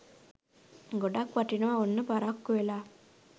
ගොඩක් වටිනවා ඔන්න පරක්කු වෙලා